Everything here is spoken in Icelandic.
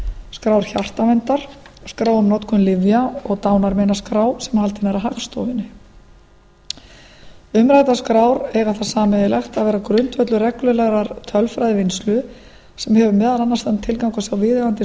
skrár hjartaverndar skrá um notkun lyfja og dánarmeinaskrá sem haldin er af hagstofunni umræddar skrár eiga það sameiginlegt að vera grundvöllur reglulegrar tölfræðivinnslu sem hefur meðal annars þann tilgang að sjá viðeigandi